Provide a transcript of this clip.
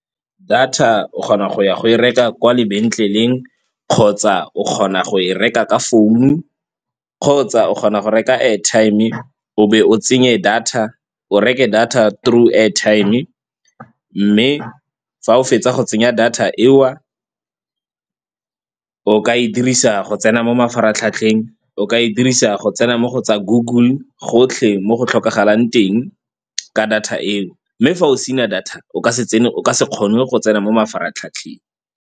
Data o kgona go ya go e reka kwa lebetleleng kgotsa o kgona go e reka ka phone-u, kgotsa o kgona go reka airtime-e o be o tsenye data o reke data through airtime-e. Mme fa o fetsa go tsenya data eo, o ka e dirisa go tsena mo mafaratlhatlheng, o ka e dirisa go tsena mo go tsa Google gotlhe mo go tlhokagalang teng ka data eo. Mme fa o sena data o ka se kgone go tsena mo mafaratlhatlheng.